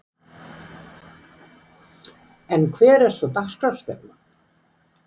En hver er svo dagskrárstefnan?